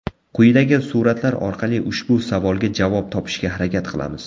Quyidagi suratlar orqali ushbu savolga javob topishga harakat qilamiz.